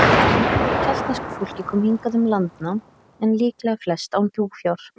Nokkuð af keltnesku fólk kom hingað um landnám, en líklega flest án búfjár.